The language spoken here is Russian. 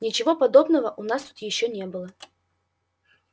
ничего подобного у нас тут ещё не было